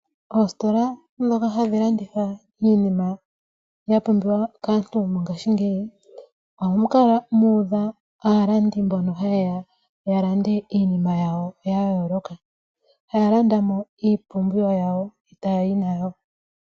Oositola dhoka hadhi landitha iinima ya pumbiwa kaantu ngashingeyi. Oha mu kala mu uudha aalandi mboka hayeya oku landa iinima yawo yayoloka. Haa landamo iipumbiwa yawo etayi nayo.